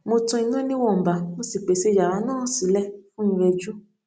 mo tan iná níwọ̀nba mo sì pèsè yàrá náà sílẹ̀ fún ìrẹjú